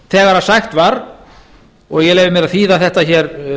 þegar sagt var og ég leyfi mér að þýða þetta hér